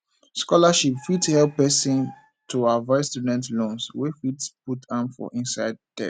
scholarship fit help person to avoid student loans wey fit put am for inside debt